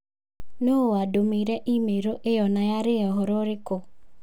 Nũũ wandũmĩire i-mīrū ĩyo na yarĩ ya ũhoro ũrĩkũ?